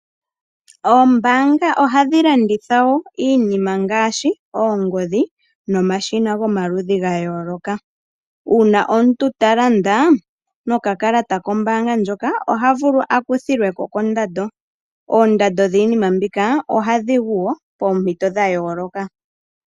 Oombanga ohadhi landitha iinima ngaashi oongodhi nomashina gomaludhi gayooloka uuna omuntu ta landa nokakalata kombaanga ndjoka oha vulu a kuthilwe ko kondando, oondando dhiinima mbika ohadhi gu wo poompito dha yooloka.